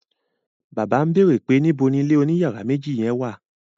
Bàbá ń bèrè pé níbo ni ilé oní yàrá méjì yen wà?